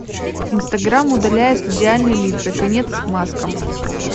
инстаграм удаляет идеальные лица конец маскам